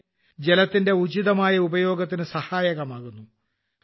അങ്ങനെ ജലത്തിന്റെ ഉചിതമായ ഉപയോഗത്തിന് സഹായകമാകുന്നു